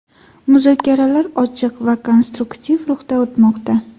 Muzokaralar ochiq va konstruktiv ruhda o‘tmoqda.